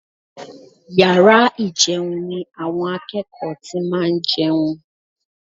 Yàrá ìjẹun ni àwọn akẹ́kọ̀ọ́ ti máa ń jẹun